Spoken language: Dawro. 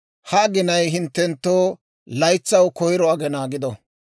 «Ha aginay hinttenttoo laytsaw koyro aggina gido;